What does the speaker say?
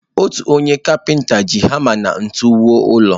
Otu onye kapinta ji hama na ntu wuo ụlọ.